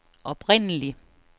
oprindelig